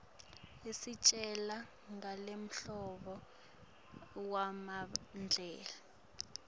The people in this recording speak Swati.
istjela nangemlanduvo wamandela